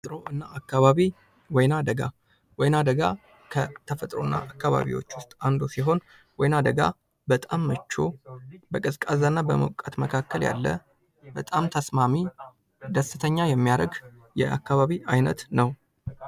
ተፈጥሮና አካባቢ ወይና ደጋ ወይና ደጋ ከተፈጥሮና አካባቢዎች ውስጥ አንዱ ሲሆን ወይና ደጋ በጣም ምቹ በቀዝቃዛ እና በሞቃት መካከል ያለ በጣም ተስማሚ ደስተኛ የሚያደርግ የአካባቢ አይነት ነው ::